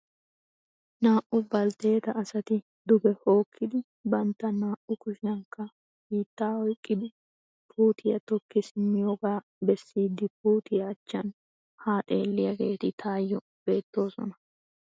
Naa"u baltteeta asati duge hookkidi bantta naa"u kushiyankka biittaa oyiqqidi puutiya tokki simmiyogaa bessiiddi puutiya achchan haa xeelliyageeti tayyoo beettoosona.